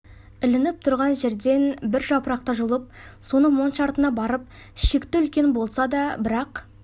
ілініп тұрған жерден бір жапырақты жұлып соны монша артына барып шекті үлкен болса да бірақ